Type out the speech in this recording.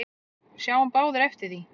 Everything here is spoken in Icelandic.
Við sáum báðir eftir því.